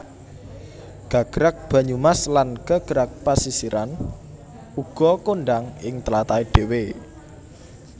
Gagrag Banyumas lan Gagrag Pesisiran uga kondhang ing tlatahé dhéwé